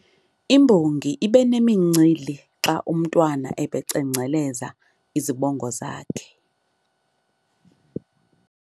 Imbongi ibe nemincili xa umntwana ebecengceleza izibongo zakhe.